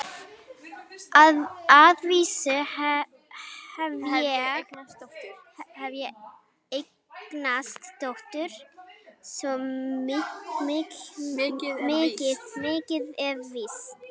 Að vísu hef ég eignast dóttur, svo mikið er víst.